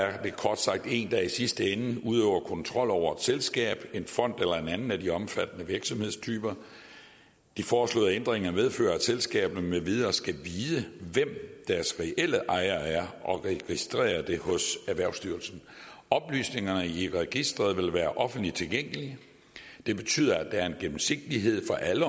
er det kort sagt en der i sidste ende udøver kontrol over et selskab en fond eller en anden af de omfattede virksomhedstyper de foreslåede ændringer medfører at selskaber med videre skal vide hvem deres reelle ejere er og registrere det hos erhvervsstyrelsen oplysningerne i registeret vil være offentligt tilgængelige det betyder at der er en gennemsigtighed for alle